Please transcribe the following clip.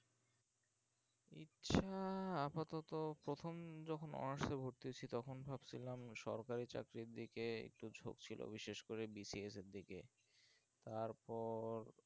so আপাতত প্রথম যখন honours এ ভর্তি হয়েছি তখন ভাবছিলাম সরকারের চাকরির দিকে একটু ঝোঁক ছিল বিশেষ করে BCS এর দিকে তারপর